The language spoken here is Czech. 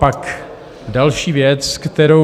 Pak další věc, kterou...